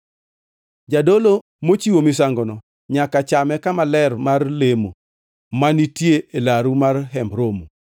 Jadolo mochiwo misangono nyaka chame kama ler mar lemo, ma nitie e laru mar Hemb Romo.